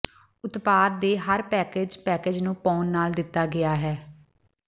ਉਤਪਾਦ ਦੇ ਹਰ ਪੈਕੇਜ ਪੈਕੇਜ ਨੂੰ ਪਾਉਣ ਨਾਲ ਦਿੱਤਾ ਗਿਆ ਹੈ